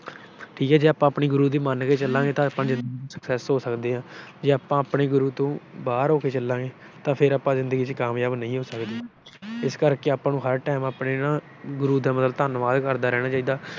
ਠੀਕ ਆ ਜੇ ਆਪਾ ਆਪਣੇ ਗੁਰੂ ਦੀ ਮੰਨ ਕੇ ਚਲਾਂਗੇ ਤਾਂ ਆਪਾ ਜਿੰਦਗੀ ਚ success ਹੋ ਸਕਦੇ ਆ। ਜੇ ਆਪਾ ਆਪਣੇ ਗੁਰੂ ਤੋਂ ਬਾਹਰ ਹੋ ਕੇ ਚਲਾਂਗੇ ਤਾਂ ਫਿਰ ਆਪਾ ਜਿੰਦਗੀ ਚ ਕਾਮਯਾਬ ਨਹੀਂ ਹੋ ਸਕਦੇ। ਇਸ ਕਰਕੇ ਆਪਾ ਨੂੰ ਹਰ time ਆਪਣੇ ਨਾ ਗੁਰੂ ਦਾ ਮਤਲਬ ਧੰਨਵਾਦ ਕਰਦੇ ਰਹਿਣਾ ਚਾਹੀਦਾ।